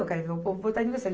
Eu quero ver o povo votar em você.